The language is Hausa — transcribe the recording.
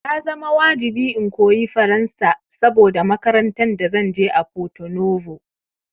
Ya zama wajibi in koyi Faransa saboda makarantan da zanje a Porto Novo